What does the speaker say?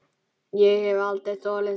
Ég hef aldrei þolað þetta